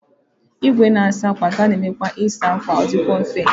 Igwe na-asa ákwà ga na-eme ịsa ákwà adịkwo mfe.